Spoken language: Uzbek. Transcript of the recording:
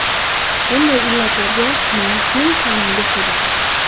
Bunday illatlarga maoshning kamligi sabab.